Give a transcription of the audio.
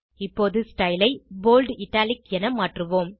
இப்போது ஸ்டைல் ஐ bold italic என மாற்றுவோம்